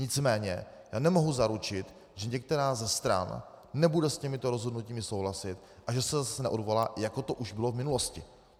Nicméně já nemohu zaručit, že některá ze stran nebude s těmito rozhodnutími souhlasit a že se zase neodvolá, jako to už bylo v minulosti.